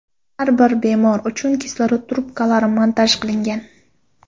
Har bir bemor uchun kislorod trubkalari montaj qilingan.